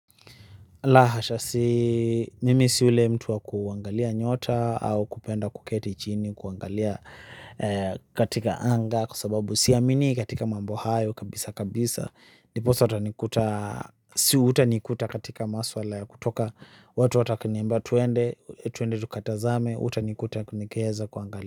La hasha si, mimi si ule mtu wa kuangalia nyota au kupenda kuketi chini kuangalia katika anga kwa sababu siaminii katika mambo hayo kabisa kabisa. Ndiposa utanikuta si utanikuta katika maswala ya kutoka watu ata wakiniambia tuende tuende tukatazame utanikuta nikiheza kuangalia.